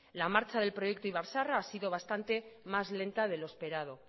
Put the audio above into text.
la marcha del proyecto ibar zaharra ha sido bastante más lenta de lo esperado